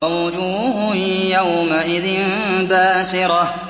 وَوُجُوهٌ يَوْمَئِذٍ بَاسِرَةٌ